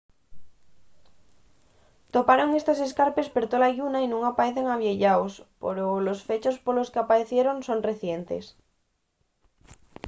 toparon estos escarpes per tola lluna y nun paecen avieyaos poro los fechos polos qu'apaecieron son recientes